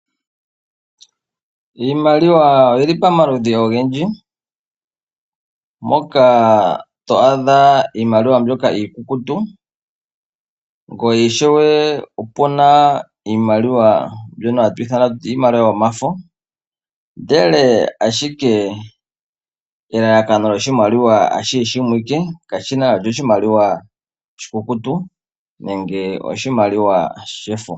Iimaliwa oyili pamaludhi ogendji, moka to adha iimaliwa mbyoka iikukutu, po ishewe opuna iimaliwa mbyono hatu ithana kutya iimalilwa yomafo, ashike elalakano lyoshimaliwa alihe limwe alike, kashina kutya oshimaliwa oshikukutu, nenge oshimaliwa shefo.